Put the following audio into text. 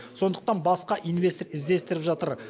сондықтан басқа инвестор іздестіріп жатыр